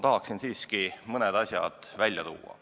Tahaksin siiski mõned asjad välja tuua.